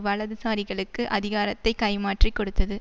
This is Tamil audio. வலதுசாரிகளுக்கு அதிகாரத்தை கைமாற்றிக் கொடுத்தது